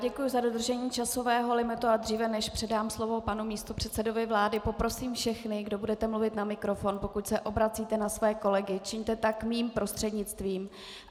Děkuju za dodržení časového limitu, a dříve než předám slovo panu místopředsedovi vlády, poprosím všechny, kdo budete mluvit na mikrofon, pokud se obracíte na své kolegy, čiňte tak mým prostřednictvím.